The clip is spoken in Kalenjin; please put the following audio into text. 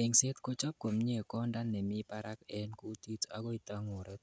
Eng'set kochob komie konda nemi barak en kutit akoi tangurek